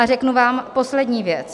A řeknu vám poslední věc.